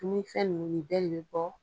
Dumunifɛn ninnu nin bɛɛ de bi bɔ